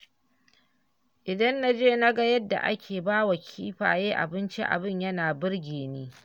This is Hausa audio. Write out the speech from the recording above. Idan na je naga yadda ake bawa kifaye abinci abin yana birge ni.